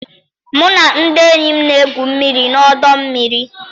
Mụ na ndị enyi m na-egwu mmiri na ọdọ mmiri.